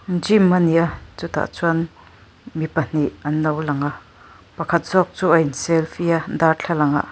gym ani a chutah chuan mi pahnih anlo lang a pakhat zawk chu a in selfie a darthlangah--